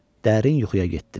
Dərin yuxuya getdim.